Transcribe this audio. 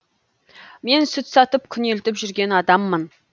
мен сүт сатып күнелтіп жүрген адаммын